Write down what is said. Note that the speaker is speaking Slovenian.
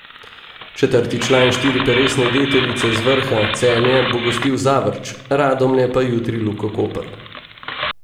Četrti član štiriperesne deteljice z vrha, Celje, bo gostil Zavrč, Radomlje pa jutri Luko Koper.